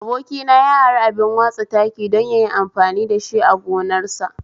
Abokina ya ari abin watsa taki don yayi amfani dashi a gonarsa